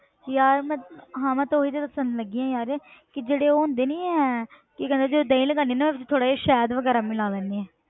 ਯਾਰ ਮੈਂ ਹਾਂ ਤੇ ਮੈਂ ਉਹੀ ਤੇ ਦੱਸਣ ਲੱਗੀ ਹਾਂ ਯਾਰ ਕਿ ਜਿਹੜੇ ਉਹ ਹੁੰਦੇ ਨੀ ਹੈ ਕਿ ਕਹਿੰਦੇ ਜਦੋਂ ਦਹੀਂ ਲਗਾਉਂਦੀ ਹਾਂ ਨਾ ਥੋੜ੍ਹਾ ਜਿਹਾ ਸ਼ਹਿਦ ਵਗ਼ੈਰਾ ਮਿਲਾ ਲੈਂਦੀ ਹਾਂ।